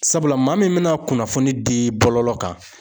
Sabula maa min bina kunnafoni di bɔlɔlɔ kan.